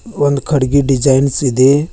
ಒಂದು ಕಡಿಗಿ ಡಿಸೈನ್ಸ್ ಇದೆ.